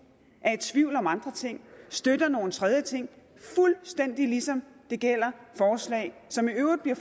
er i tvivl om andre ting og støtter nogle tredje ting fuldstændig ligesom det gælder forslag som i øvrigt bliver